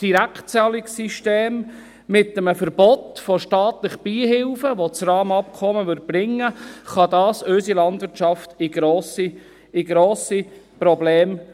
Das Direktzahlungssystem mit einem Verbot von staatlichen Beihilfen, welches das Rahmenabkommen mit sich brächte, brächte unserer Landwirtschaft grosse Probleme.